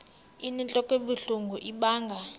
inentlok ebuhlungu ibanga